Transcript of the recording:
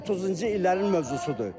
Bu 30-cu illərin mövzusudur.